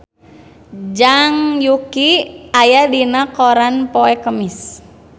Zhang Yuqi aya dina koran poe Kemis